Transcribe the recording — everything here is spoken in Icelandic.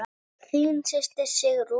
Þín systir Sigrún.